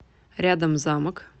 рядом замок